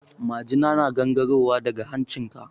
Majina na gangaro wa daga hancin ka.